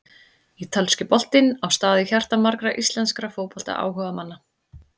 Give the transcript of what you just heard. Ítalski boltinn á stað í hjarta margra íslenskra fótboltaáhugamanna.